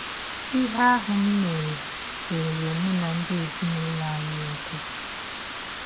Ihe ahụ m mere seere mụ na ndị ezinụlọ anyị ọkwụ.